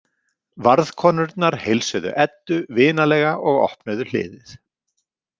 Varðkonurnar heilsuðu Eddu vinalega og opnuðu hliðið.